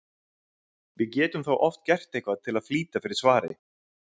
Við getum þá oft gert eitthvað til að flýta fyrir svari.